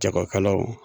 Jagokɛlaw